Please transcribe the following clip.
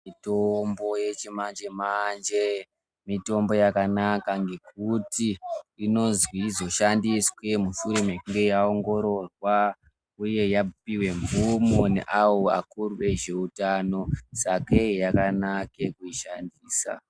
Mitombo yechimanje manje mitombo yakanaka ngekuti inonzwi izoshandiswe mushure mwekunge yaongororwa uye yapuwe mvumo neavo vakuru vezveutano sakei yakanaka kuishandisa.